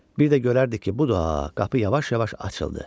Bir də görərdik ki, bu da qapı yavaş-yavaş açıldı.